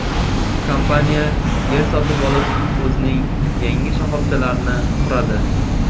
Kompaniya yer sotib olib o‘zining yangi shoxobchalarini quradi.